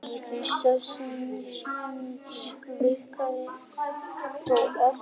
Þetta var í fyrsta sinn sem ég virkilega tók eftir henni.